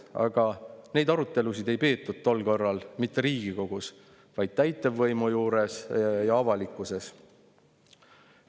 Aga neid arutelusid ei peetud tol korral mitte Riigikogus, vaid neid pidas täitevvõim ja neid peeti avalikkuses.